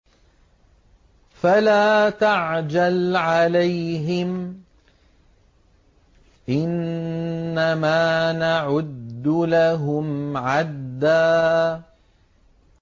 فَلَا تَعْجَلْ عَلَيْهِمْ ۖ إِنَّمَا نَعُدُّ لَهُمْ عَدًّا